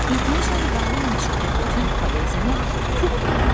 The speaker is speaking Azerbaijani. İndiyəcən qalın meşədə bütün poeziyanı Pux yaradırdı.